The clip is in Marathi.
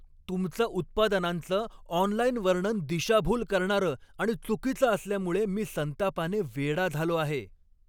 तुमचं उत्पादनांचं ऑनलाइन वर्णन दिशाभूल करणारं आणि चुकीचं असल्यामुळे मी संतापाने वेडा झालो आहे.